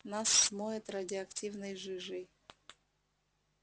нас смоет радиоактивной жижей